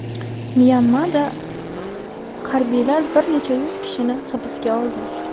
Myanmada harbiylar bir necha yuz kishini hibsga oldi.